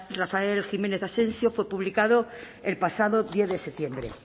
rafael jiménez asensio fue publicado el pasado diez de septiembre